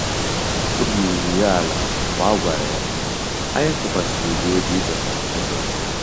Obi ruru ya ala mgbe a gwara ya, "Anyị tụkwasịrị gị obi ịchọta ụzọ gị."